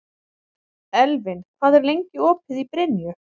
Elvin, hvað er lengi opið í Brynju?